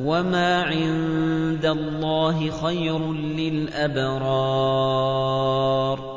وَمَا عِندَ اللَّهِ خَيْرٌ لِّلْأَبْرَارِ